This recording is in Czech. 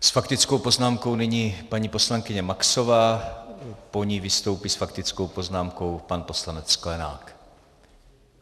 S faktickou poznámkou nyní paní poslankyně Maxová, po ní vystoupí s faktickou poznámkou pan poslanec Sklenák.